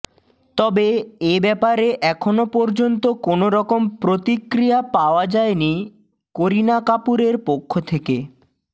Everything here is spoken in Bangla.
তবে এ ব্যাপারে এখনও পর্যন্ত কোনওরকম প্রতিক্রিয়া পাওয়া যায়নি করিনা কাপুরের পক্ষ থেকে